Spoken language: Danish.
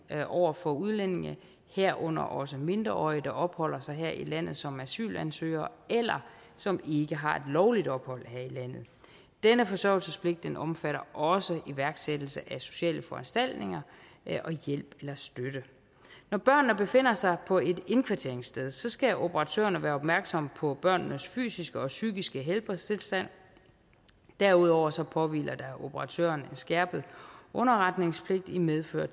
over for udlændinge herunder også mindreårige der opholder sig her i landet som asylansøgere eller som ikke har lovligt ophold her i landet denne forsørgelsespligt omfatter også iværksættelse af sociale foranstaltninger og hjælp eller støtte når børnene befinder sig på et indkvarteringssted skal operatørerne være opmærksomme på børnenes fysiske og psykiske helbredstilstand derudover påhviler der operatørerne en skærpet underretningspligt i medfør